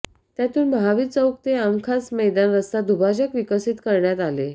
त्यातून महावीर चौक ते आमखास मैदान रस्ता दुभाजक विकसित करण्यात आले